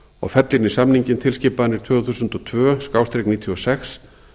og fella inn í samninginn tilskipanir tvö þúsund og tvö níutíu og sex